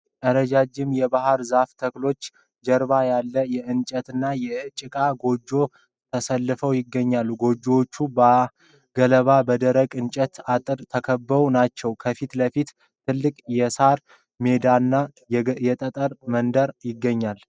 ረዣዥም የባህር ዛፍ ተክሎች ጀርባ ያለ የእንጨትና የጭቃ ጎጆዎች ተሰልፈው ይገኛሉ። ጎጆዎቹ በገለባና በደረቁ የእንጨት አጥር የተከበቡ ናቸው። ከፊት ለፊት ትልቅ የሳር ሜዳና የጠጠር መንገድ ይገኛል።